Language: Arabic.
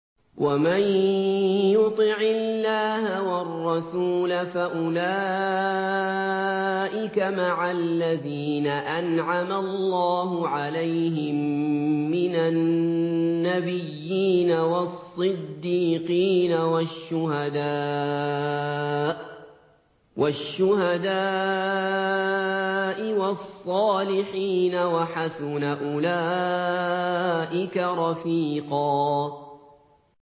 وَمَن يُطِعِ اللَّهَ وَالرَّسُولَ فَأُولَٰئِكَ مَعَ الَّذِينَ أَنْعَمَ اللَّهُ عَلَيْهِم مِّنَ النَّبِيِّينَ وَالصِّدِّيقِينَ وَالشُّهَدَاءِ وَالصَّالِحِينَ ۚ وَحَسُنَ أُولَٰئِكَ رَفِيقًا